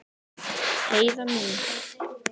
Heiða mín.